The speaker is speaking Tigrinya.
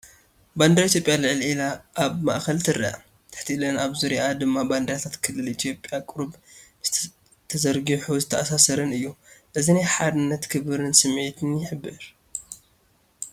ባንዴራ ኢትዮጵያ ልዕል ኢላ ኣብ ማእኸል ትርአ። ትሕት ኢለን ኣብ ዙርያኣ ድማ ባንዴራታት ክልላት ኢትዮጵያ ቅሩብ ተዘርጊሑን ዝተኣሳሰረን እዩ። እዚ ናይ ሓድነትን ክብርን ስምዒት ይሕብር።